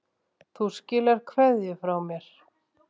Þú skilar kveðju frá mér.